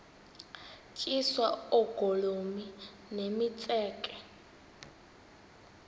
tyiswa oogolomi nemitseke